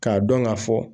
K'a dɔn k'a fɔ